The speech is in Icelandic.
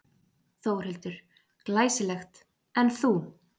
Þórhildur: Glæsilegt, en þú?